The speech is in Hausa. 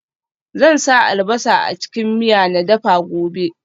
Zan sa albasa a cikin miya na dafa gobe